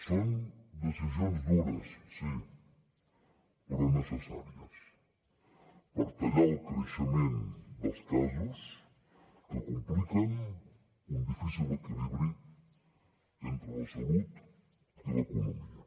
són decisions dures sí però necessàries per tallar el creixement dels casos que compliquen un difícil equilibri entre la salut i l’economia